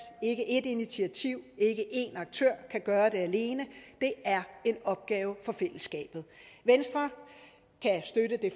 ikke et initiativ ikke en aktør kan gøre det alene det er en opgave for fællesskabet venstre kan støtte det